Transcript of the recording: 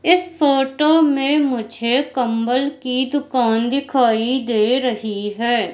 इस फोटो में मुझे कंबल की दुकान दिखाई दे रही है।